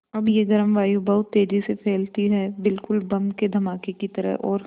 अब यह गर्म वायु बहुत तेज़ी से फैलती है बिल्कुल बम के धमाके की तरह और